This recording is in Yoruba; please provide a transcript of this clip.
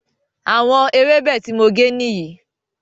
Àwọn ewebẹ̀ tí mo gé nìyí